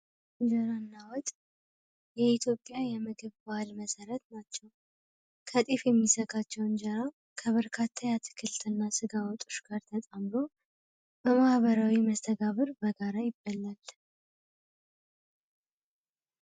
እንጀራና ወጥ የኢትዮጵያ የምግብ ባህል መሰረት ናቸው የሚዘጋጀው እንጀራ ከበርካታ አትክልትና ስጋ ጋር ተጣምሮ በማህበራዊ መስተዳድር በጋራ ይበላል።